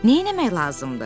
Neynəmək lazımdır?